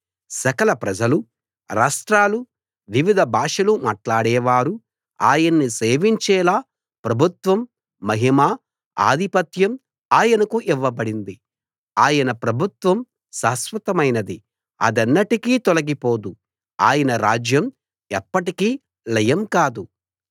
సకల ప్రజలు రాష్ట్రాలు వివిధ భాషలు మాటలాడేవారు ఆయన్ని సేవించేలా ప్రభుత్వం మహిమ ఆధిపత్యం ఆయనకు ఇవ్వబడింది ఆయన ప్రభుత్వం శాశ్వతమైనది అదెన్నటికీ తొలగిపోదు ఆయన రాజ్యం ఎప్పటికీ లయం కాదు